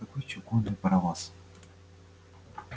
какой чугунный паровоз